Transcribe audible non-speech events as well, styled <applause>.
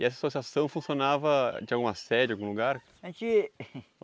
E essa associação funcionava de alguma sede, algum lugar? A gente <laughs>